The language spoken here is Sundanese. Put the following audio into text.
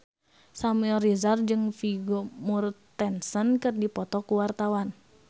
Samuel Rizal jeung Vigo Mortensen keur dipoto ku wartawan